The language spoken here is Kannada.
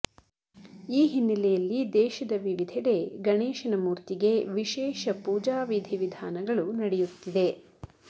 ಈ ಹಿನ್ನೆಲೆಯಲ್ಲಿ ದೇಶದ ವಿವಿಧೆಡೆ ಗಣೇಶನ ಮೂರ್ತಿಗೆ ವಿಶೇಷ ಪೂಜಾ ವಿಧಿ ವಿಧಾನಗಳು ನಡೆಯುತ್ತಿದೆ